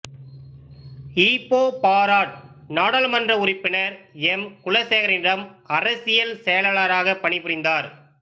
Ipoh Barat நாடாளுமன்ற உறுப்பினர் M குலசேகரனிடம் அரசியல் செயலாளராகச் பணிபுரிந்தார்